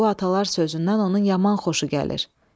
Bu atalar sözündən onun yaman xoşu gəlir.